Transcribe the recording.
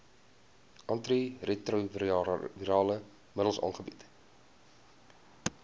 antiretrovirale middels aangebied